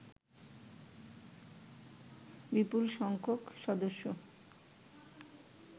বিপুল সংখ্যক সদস্য